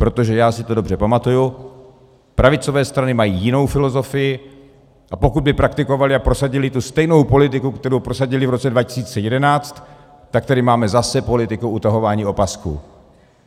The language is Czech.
Protože, já si to dobře pamatuju, pravicové strany mají jinou filozofii, a pokud by praktikovaly a prosadily tu stejnou politiku, kterou prosadily v roce 2011, tak tady máme zase politiku utahování opasků.